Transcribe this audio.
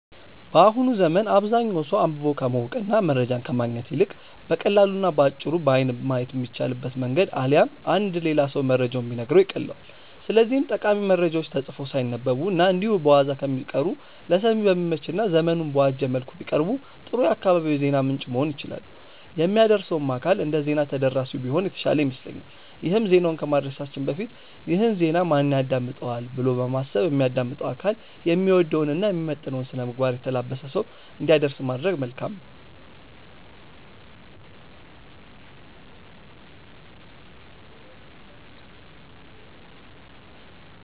በአሁኑ ዘመን አብዛኛው ሰው አንብቦ ከማወቅ እና መረጃን ከማግኘት ይልቅ በቀላሉ እና በአጭሩ በአይን ማየት በሚቻልበት መንገድ አሊያም አንድ ሌላ ሰው መረጃውን ቢነግረው ይቀልለዋል። ስለዚህም ጠቃሚ መረጃዎች ተጽፈው ሳይነበቡ እና እንዲሁ በዋዛ ከሚቀሩ ለሰሚ በሚመች እና ዘመኑን በዋጀ መልኩ ቢቀርቡ ጥሩ የአካባቢው የዜና ምንጭ መሆን ይችላሉ። የሚያደርሰውም አካል እንደዜና ተደራሲው ቢሆን የተሻለ ይመስለኛል ይሄም ዜናውን ከማድረሳችን በፊት "ይህን ዜና ማን ያዳምጠዋል?'' ብሎ በማሰብ የሚያዳምጠው አካል የሚወደውን እና የሚመጥነውን ስነምግባር የተላበሰ ሰው እንዲያደርስ ማድረግ መልካም ነው።